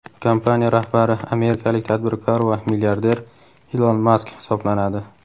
Kompaniya rahbari amerikalik tadbirkor va milliarder Ilon Mask hisoblanadi.